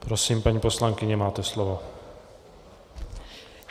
Prosím, paní poslankyně, máte slovo.